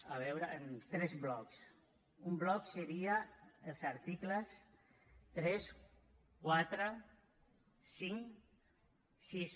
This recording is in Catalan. a veure en tres blocs un bloc seria els articles tres quatre cinc sis